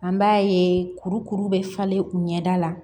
An b'a ye kurukuru bɛ falen u ɲɛda la